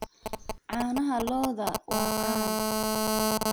Caanaha lo'da waa caan.